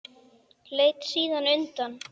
Leit síðan undan.